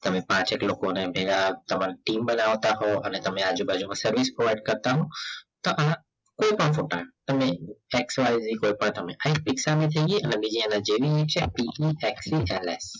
તમે પાંચ એક લોકોને ભેગા તમારી team બનાવતા હો અને તમે આજુબાજુમાં service provide કરતા હો તો અહીંયા એ પણ ફોટા તમે જઈએ અને અને બીજી એને જેની નીચે ચાલે